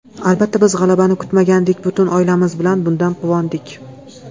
Albatta, biz g‘alabani kutmagandik, butun oilamiz bilan bundan quvondik.